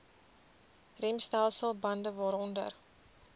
remstelsel bande waaronder